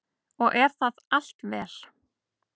Og er það allt vel.